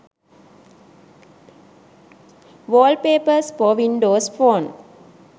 wallpapers for windows phone